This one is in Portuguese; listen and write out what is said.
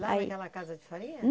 Lá naquela casa de farinha?